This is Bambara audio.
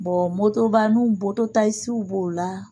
motobanin b'o la